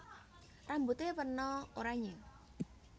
Rambute wena oranye